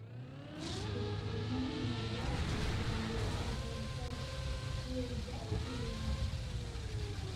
Dukaamo noocee ah ayaa agagaarkayga ku yaal